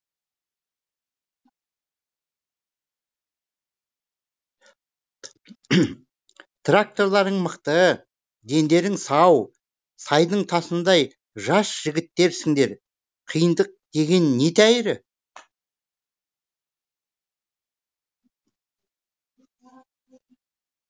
тракторларың мықты дендерің сау сайдың тасыңдай жас жігіттерсіңдер қиындық деген не тәйірі